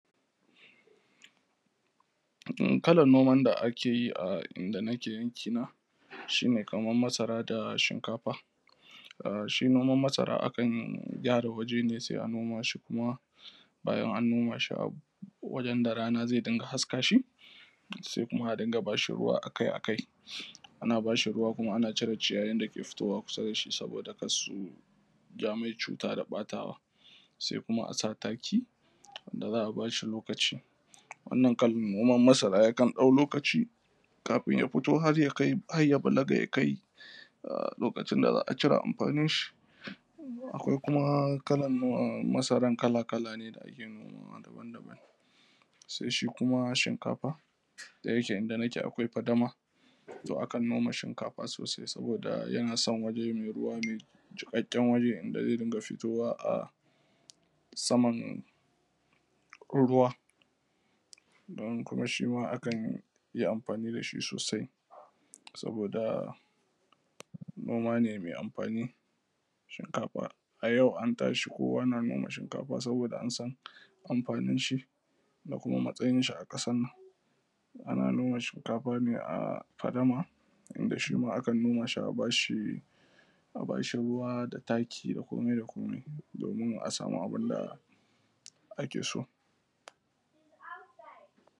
Kalan noman da ake yi a inda nake yankina shi ne kamar masara da shinkafa. Shi noman masara akan gyara waje ne sai a noma shi kuma bayan an noma shi a wajen da rana zai dinga haska shi sai kuma a dinga ba shi ruwa akai-akai, ana ba shi ruwa kuma ana cire ciyayin dake fitowa kusa da shi saboda kar su ja mai cuta da ɓatawa, sai kuma a sa taki da za a ba shi lokaci. Wannan kalan noman masara yakan ɗau lokaci kafin ya fito har ya kai, har ya balaga ya kai lokacin da za a cire amfanin shi. Akwai kuma kalan masaran kala-kala ne da ake noma da wanda ba a nomawa. Sai shi kuma shinkafa da yake inda nake akwai fadama, to akan noma shinkafa sosai saboda yana son waje mai ruwa mai jiƙaƙƙen waje inda zai dinga fitowa a saman ruwa, don kuma shima akan yi amfani da shi sosai, saboda noma ne mai amfani. Shinkafa, a yau an tashi kowa na noma shinkafa saboda an san amfanin shi da kuma matsayin shi a ƙasan nan. Ana noma shinkafa ne a fadama wanda shima akan noma shi ne a bashi ruwa da taki da komai da komai domin a samu abin da ake so.